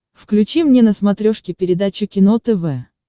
включи мне на смотрешке передачу кино тв